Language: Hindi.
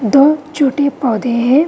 दो-छोटे पौधे हैं |